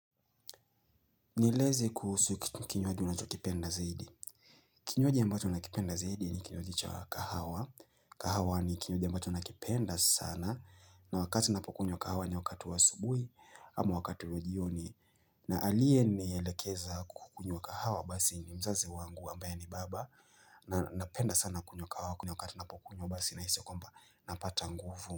Nieleze kuhusu kinywaji unachokipenda zaidi. Kinywaji ambacho nakipenda zaidi ni kinywaji cha kahawa. Kahawa ni kinywaji ambacho nakipenda sana na wakati ninapokunywa kahawa ni wakati wa asubuhi ama wakati wa jioni na aliyenielekeza kukunywa kahawa basi ni mzazi wangu ambaye ni baba na napenda sana kunywa kahawa kunywa wakati napokunywa basi nahisi kwamba napata nguvu.